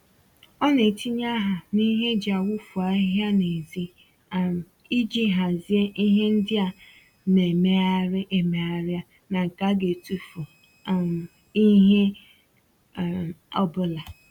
Ọ na-etinye aha n'ihe eji awufu ahịhịa n'ezi um iji hazie ihe ndị a na-emegharị emegharị ná nke a ga etufu um ìhè um ọbụla